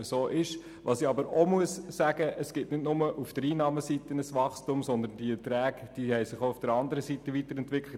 Aber es gibt nicht nur auf der Einnahmeseite ein Wachstum, auch auf der anderen Seite haben sich die Beträge entwickelt.